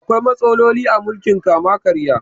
Akwai matsaloli a mulkin kama-karya.